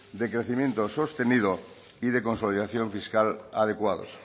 de crecimiento sostenido y de consolidación fiscal adecuados